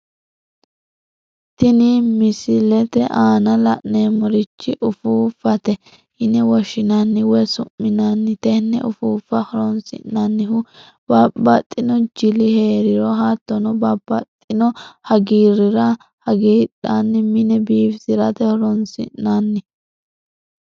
Tini misilete aana la'neemorichi ufuuffate yine woshinnanni woyi su'minanni tene ufuuffa horonsinannihu babaxxino jilli heeriro hatono babaxino haggiirriira hagidhane mine biifisirate horonsinanni